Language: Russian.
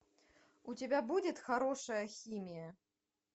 у тебя будет хорошая химия